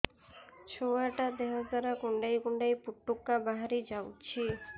ଛୁଆ ଟା ଦେହ ସାରା କୁଣ୍ଡାଇ କୁଣ୍ଡାଇ ପୁଟୁକା ବାହାରି ଯାଉଛି